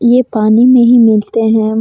ये पानी मे ही मिलते हैं।